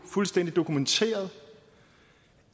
fuldstændig dokumenteret